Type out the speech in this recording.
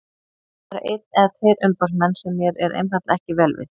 Það eru einn eða tveir umboðsmenn sem mér er einfaldlega ekki vel við.